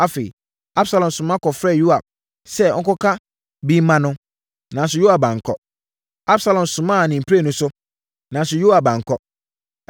Afei, Absalom soma kɔfrɛɛ Yoab sɛ ɔnkɔka bi mma no, nanso Yoab ankɔ. Absalom somaa ne mprenu so, nanso Yoab ankɔ.